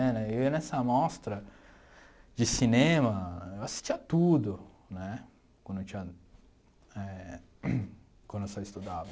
É né eu ia nessa amostra de cinema eu assistia tudo né quando eu tinha eh quando só estudava.